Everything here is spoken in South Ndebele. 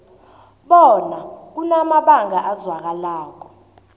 bona kunamabanga azwakalako